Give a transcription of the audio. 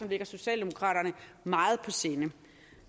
ligger socialdemokraterne meget på sinde